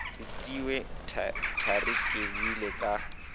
retilwe thari ke boile ka